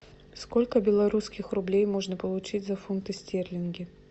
сколько белорусских рублей можно получить за фунты стерлинги